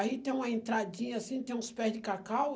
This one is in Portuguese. Aí tem uma entradinha assim, tem uns pé de cacau.